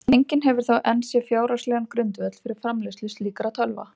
Enginn hefur þó enn séð fjárhagslegan grundvöll fyrir framleiðslu slíkra tölva.